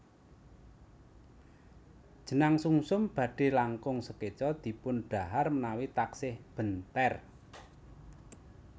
Jenang sumsum badhe langkung sekeca dipun dhahar menawi taksih benter